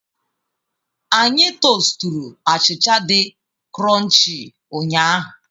Anyị tosturu achịcha di krọnchii ụnyahụ.